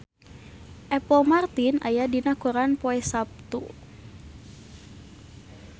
Apple Martin aya dina koran poe Saptu